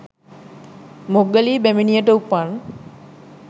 මොග්ගලී බැමිණියට උපන්